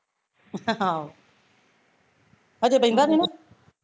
ਆਹੋ ਹਜੇ ਬਹਿੰਦਾ ਨੀ ਨਾ